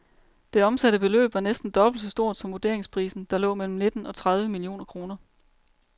Det omsatte beløb var næsten dobbelt så stort som vurderingsprisen, der lå mellem nitten og tredive millioner kroner.